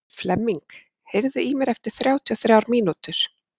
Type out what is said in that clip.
Flemming, heyrðu í mér eftir þrjátíu og þrjár mínútur.